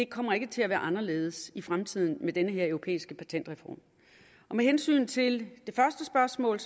kommer ikke til at være anderledes i fremtiden med den her europæiske patentreform med hensyn til det første spørgsmål